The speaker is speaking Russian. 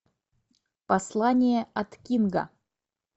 послание от кинга